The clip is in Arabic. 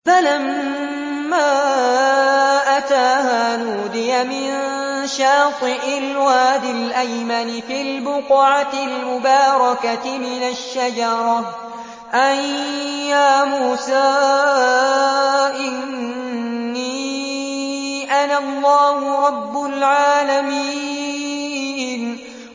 فَلَمَّا أَتَاهَا نُودِيَ مِن شَاطِئِ الْوَادِ الْأَيْمَنِ فِي الْبُقْعَةِ الْمُبَارَكَةِ مِنَ الشَّجَرَةِ أَن يَا مُوسَىٰ إِنِّي أَنَا اللَّهُ رَبُّ الْعَالَمِينَ